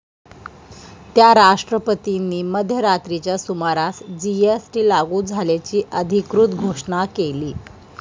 त्या राष्ट्रपतींनी मध्यरात्रीच्या सुमारास जीएसटी लागू झाल्याची अधिकृत घोषणा केली.